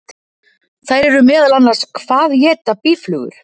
Þær eru meðal annars: Hvað éta býflugur?